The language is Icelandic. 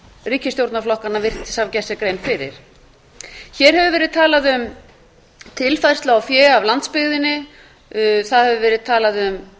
ríkisstjórnarflokkanna virðist hafa gert sér grein fyrir hér hefur verið talað um tilfærslu á fé af landsbyggðinni það hefur verið talað um